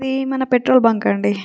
హీది మన petrol bunk అండి.